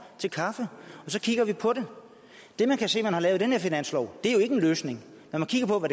til kaffe og så kigger vi på det det man kan se der er lavet i den her finanslov er jo ikke en løsning når man kigger på